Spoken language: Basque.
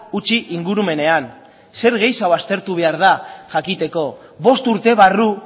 utzi ingurumenean zer gehiago aztertu behar da jakiteko bost urte barru